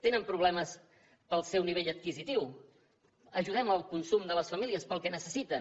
tenen problemes pel seu nivell adquisitiu ajudem al consum de les famílies pel que necessiten